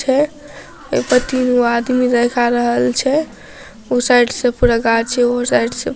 छै ओय पे तीन गो आदमी देखाई रहल छै उ साइड से पूरा गाछ छै उ साइड से ---